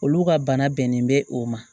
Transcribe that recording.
Olu ka bana bɛnnen bɛ o ma